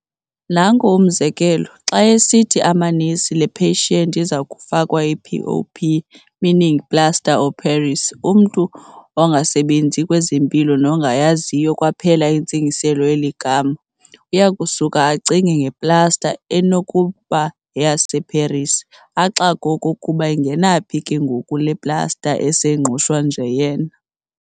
Nanku umzekelo, xa esithi amanesi'Le "patient" izakufakwa i-"PoP" meaning "plaster of Paris", umntu ongasebenzi kwezempilo nongayaziyo kwaphela intsingiselo yeli gama, uyakusuka acinge nge-"plaster" ekunokuba yeyaseParis, axakwe okokuba ingena phi ke ngoku le "plaster" eseNgqushwa nje yena.